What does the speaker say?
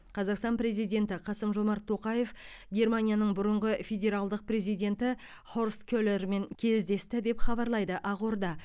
қазақстан президенті қасым жомарт тоқаев германияның бұрынғы федералдық президенті хорст келермен кездесті деп хабарлайды ақорда